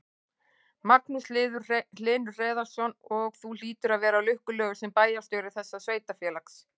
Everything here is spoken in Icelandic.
Magnús Hlynur Hreiðarsson: Og þú hlýtur að vera lukkulegur sem bæjarstjóri þessa sveitarfélags?